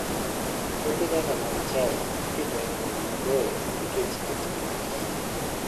Puothe kaka mag chai ipidho e gwenge maboyo nikech kitgi makende.